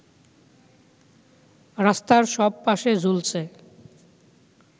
রাস্তার সব পাশে ঝুলছে